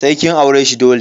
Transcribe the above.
Sai kin aure shi dole.